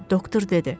Doktor dedi.